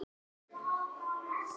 Ó, elsku Jónsi minn.